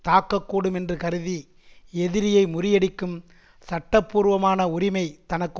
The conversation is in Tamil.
தாக்கக்கூடும் என்று கருதி எதிரியை முறியடிக்கும் சட்ட பூர்வமான உரிமை தனக்கு